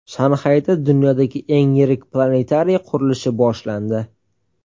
Shanxayda dunyodagi eng yirik planetariy qurilishi boshlandi.